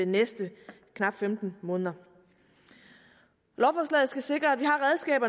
næste knap femten måneder lovforslaget skal sikre at vi